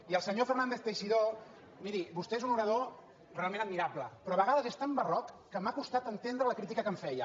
i al senyor fernández teixidó miri vostè és un orador realment admirable però a vegades és tan barroc que m’ha costat entendre la crítica que em feia